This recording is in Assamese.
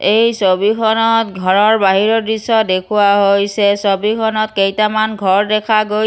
এই ছবিখনত ঘৰৰ বাহিৰৰ দৃশ্য দেখুওৱা হৈছে ছবিখনত কেইটামান ঘৰ দেখা গৈ--